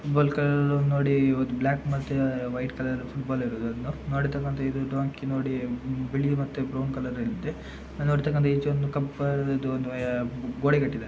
Football colour ನೋಡಿ ಇವತ್ತು black ಮತ್ತೆ ವೈಟ್ ಕಲರ್ ಫುಟ್ಬಾಲ್ ಇರೋದು ಅದು ನೋಡಿರ್ತಕಂತ ಇದು ಡಾಂಕಿ ನೋಡಿ ಬಿಳಿ ಮತ್ತೆ ಬ್ರೌನ್ ಕಲರ್ ಅಲ್ಲಿ ಇದೆ. ನೋಡಿರ್ತಕಂತ ಈಚೆ ಒಂದು ಕಂಪ್- ಇದು ಗೋಡೆ ಕಟ್ಟಿದೆ.